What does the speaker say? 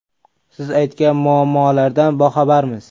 Siz aytgan muammolardan boxabarmiz.